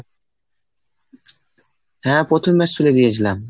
হ্যাঁ, প্রথম match তুলে দিয়েছিলাম।